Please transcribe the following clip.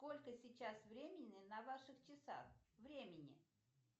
сколько сейчас времени на ваших часах времени